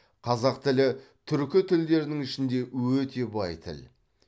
қазақ тілі түркі тілдерінің ішінде өте бай тіл